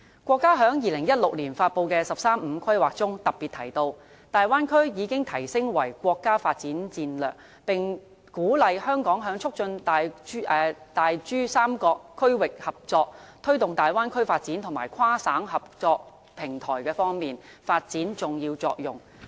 國家在2016年發布的"十三五"規劃中特別提到，大灣區已提升為國家發展戰略，並鼓勵香港在促進大珠三角區域合作、推動大灣區發展和跨省合作平台方面，發揮重要作用。